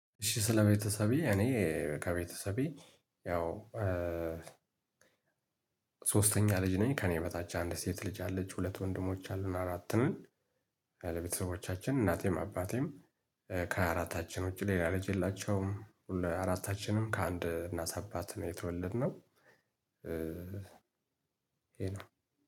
እሺ ስለቤተሰቤ እኔ ከቤተሰቤ ያው ሶስተኛ ልጅ ነኝ ከእኔ በታች አንድ ሴት ልጅ አለች ሁለት ወንድሞች አሉን አራትንን ለቤተሰቦቻችን እናቴም አባቴም ከሃያ አራታችን ውጪ ሌላ ልጅ የላቸውም ሁሉ አራታችንም ከአንድ እናት አባት ነው የተወለድነው ይሄ ነው።